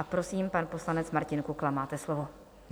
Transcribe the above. A prosím, pan poslanec Martin Kukla, máte slovo.